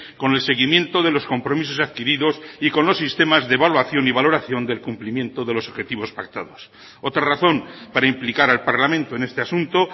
con el seguimiento de los compromisos adquiridos y con los sistemas de evaluación y valoración del cumplimiento de los objetivos pactados otra razón para implicar al parlamento en este asunto